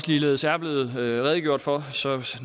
ligeledes er blevet redegjort for